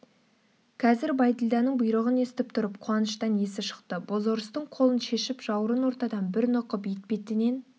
қазір бәйділданың бұйрығын естіп тұрып қуаныштан есі шықты бозорыстың қолын шешіп жауырын ортадан бір нұқып етбетінен